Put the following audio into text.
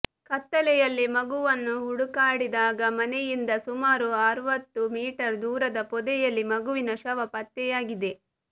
ಕತ್ತಲೆಯಲ್ಲಿ ಮಗುವನ್ನು ಹುಡುಕಾಡಿದಾಗ ಮನೆಯಿಂದ ಸುಮಾರು ಅರುವತ್ತು ಮೀಟರ್ ದೂರದ ಪೊದೆಯಲ್ಲಿ ಮಗುವಿನ ಶವ ಪತ್ತೆಯಾಗಿದೆ